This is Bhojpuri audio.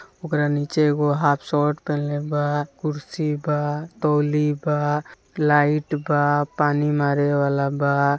उकरा नीचे एगो हाफ शर्ट पहनले बा कुर्सी बा टोलि बा लाईट बा पानी मारे वाला बा।